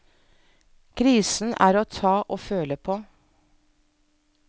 Krisen er til å ta og føle på.